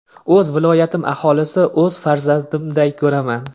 O‘z viloyatim aholisi o‘z farzandimday ko‘raman.